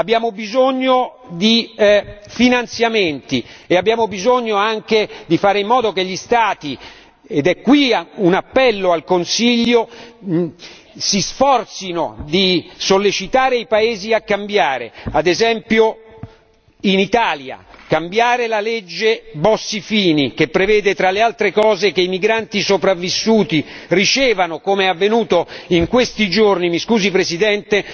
Abbiamo bisogno di finanziamenti e abbiamo bisogno anche di fare in modo che gli Stati ed è qui un appello al Consiglio si sforzino di sollecitare i paesi a cambiare, ad esempio in Italia, cambiare la legge Bossi Fini che prevede, tra le altre cose, che i migranti sopravvissuti ricevano, come è avvenuto in questi giorni mi scusi Presidente